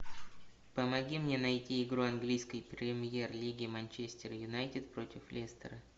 помоги мне найти игру английской премьер лиги манчестер юнайтед против лестера